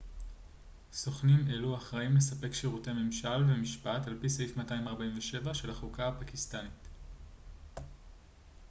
סוכנים אלו אחראים לספק שירותי ממשל ומשפט על פי סעיף 247 של החוקה הפקיסטנית